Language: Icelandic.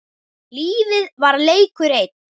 Lífið var leikur einn.